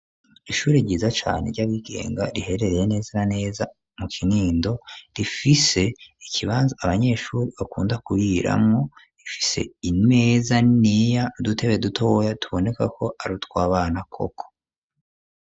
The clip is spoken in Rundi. Ishuri ryiza cane ryabigenga riherereye neza na neza mu Kinindo rifise ikibanza abanyeshuri bakunda kuriramwo rifise imeza niniya n'udutebe dutoya tuboneka ko arutwabana koko.